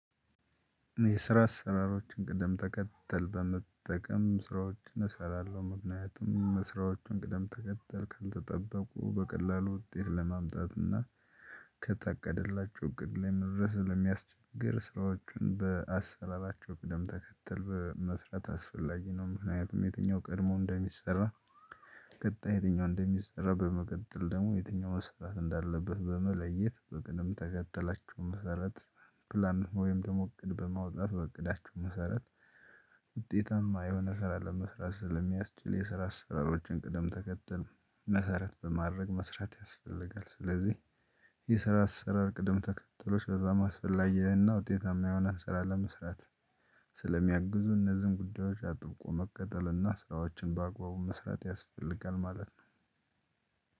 የስራ ስራዎችን ቅደም ተከተል በመጠቀም ስራዎችን እሰራለሁ ምክንያትም ምስራዎችን ቅደም ተከተል ካልተጠበቁ በቀላሉ ውጤት ለማምጣት እና ከተቀደላቸው ግድ ላይ መውረስ ለሚያስቸግር ሰዎችን በአሰራራቸው ቅደም ተከተል በመስራት አስፈላጊ ነው። ምክንያቱም የትኛው ቀድሞ እንደሚሰራ ቀጣይ የትኛው እንደሚሰራ በመቀጠል ደግሞ የትኛው መስራት እንዳለበት በመለየት በቅድም ተከተላችሁ መሰረት ፕላን ወይም ደግሞ እቅድ በማውጣት በእቅዳችሁ መሰረት። ውጤታማ የሆነ ስራ ለመስራት ስለሚያስችል የስራ አሰራሮችን ቅደም ተከተል መሰረት በማድረግ መስራት ያስፈልጋል። ስለዚህ የስራ አሰራር ቅደም ተከተሎ በጣም አስፈላጊያና ውጤታማ የሆነ ስራ ለመስራት። ስለሚያግዙ እነዚህን ጉዳዮች አጥብቆ መቅጠልና ስራዎችን በአግባቡ መስራት ያስፈልጋል ማለት ነው።